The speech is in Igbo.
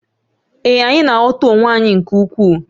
Ee, anyị na-aghọta onwe anyị nke ukwuu